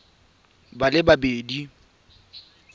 batho ba le babedi ba